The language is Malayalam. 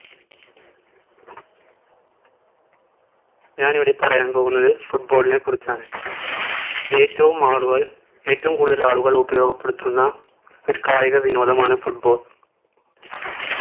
ഞാൻ ഇവിടെ പറയാൻ പോകുന്നത് football നെ കുറിച്ചാണ് ഏറ്റവും ആളുകൾ ഏറ്റവും കൂടുതൽ ആളുകൾ ഉപയോഗപ്പെടുത്തുന്ന ഒരു കായിക വിനോദമാണ് football